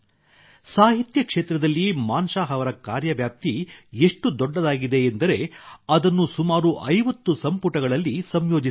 ಸಾಹಿತ್ಯ ಕ್ಷೇತ್ರದಲ್ಲಿ ಮಾನ್ ಶಾಹ್ ಅವರ ಕಾರ್ಯ ವ್ಯಾಪ್ತಿ ಎಷ್ಟು ದೊಡ್ಡದಾಗಿದೆ ಎಂದರೆ ಅದನ್ನು ಸುಮಾರು 50 ಸಂಪುಟಗಳಲ್ಲಿ ಸಂಯೋಜಿಸಲಾಗಿದೆ